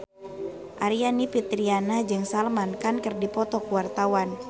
Aryani Fitriana jeung Salman Khan keur dipoto ku wartawan